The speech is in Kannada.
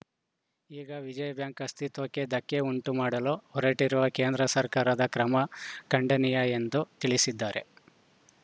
ಈಗ ವಿಜಯ ಬ್ಯಾಂಕ್‌ ಅಸ್ಥಿತ್ವಕ್ಕೆ ಧಕ್ಕೆ ಉಂಟು ಮಾಡಲು ಹೊರಟಿರುವ ಕೇಂದ್ರ ಸರಕಾರದ ಕ್ರಮ ಖಂಡನೀಯ ಎಂದು ತಿಳಿಸಿದ್ದಾರೆ